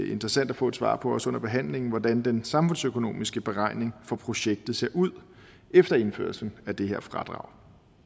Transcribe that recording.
interessant at få svar på også under behandlingen hvordan den samfundsøkonomiske beregning for projektet ser ud efter indførelse af det her fradrag